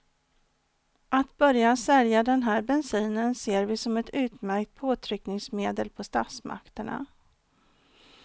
Att börja sälja den här bensinen ser vi som ett utmärkt påtryckningsmedel på statsmakterna.